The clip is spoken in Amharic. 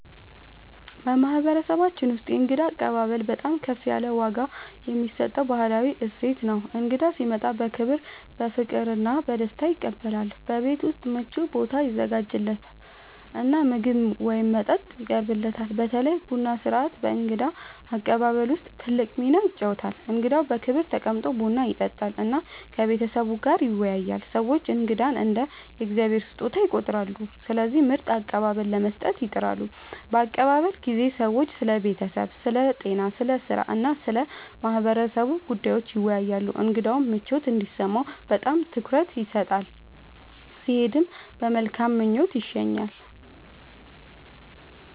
በማህበረሰባችን ውስጥ የእንግዳ አቀባበል በጣም ከፍ ያለ ዋጋ የሚሰጠው ባህላዊ እሴት ነው። እንግዳ ሲመጣ በክብር፣ በፍቅር እና በደስታ ይቀበላል፤ በቤት ውስጥ ምቹ ቦታ ይዘጋጃለት እና ምግብ ወይም መጠጥ ይቀርብለታል። በተለይ ቡና ሥርዓት በእንግዳ አቀባበል ውስጥ ትልቅ ሚና ይጫወታል፣ እንግዳው በክብር ተቀምጦ ቡና ይጠጣል እና ከቤተሰቡ ጋር ይወያያል። ሰዎች እንግዳን እንደ “የእግዚአብሔር ስጦታ” ይቆጥራሉ፣ ስለዚህ ምርጥ አቀባበል ለመስጠት ይጥራሉ። በአቀባበል ጊዜ ሰዎች ስለ ቤተሰብ፣ ስለ ጤና፣ ስለ ሥራ እና ስለ ማህበረሰቡ ጉዳዮች ይወያያሉ። እንግዳው ምቾት እንዲሰማው በጣም ትኩረት ይሰጣል፣ ሲሄድም በመልካም ምኞት ይሸኛል።